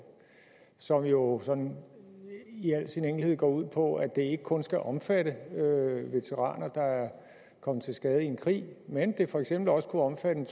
som jo sådan i al sin enkelhed går ud på at det ikke kun skal omfatte veteraner der er kommet til skade i en krig men at det for eksempel også kunne omfatte en